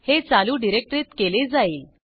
हे चालू डिरेक्टरीत केले जाईल